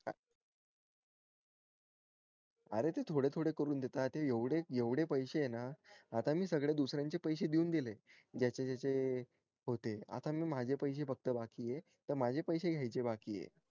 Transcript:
अरे ते थोडे थोडे करून देतात आता येवढे एवढे पैशे ना आता मी सगळे दुसऱ्या चे पैशे देऊन दिले ज्याचे ज्याचे होते आता मी माझे पैसे फक्त बाकी येण माझे पैसे घायचे बाकी ये